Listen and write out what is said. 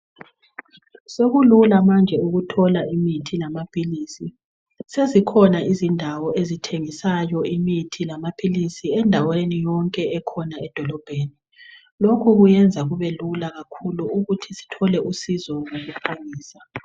Sekulula manje ukuthola imithi lamaphilisi, sezikhona izindawo ezithengisayo imithi lamaphilisi endaweni yonke ekhona edolobheni lokhu kwenza kube lula kakhulu ukuthi Sithole usizo ngokuphangisa.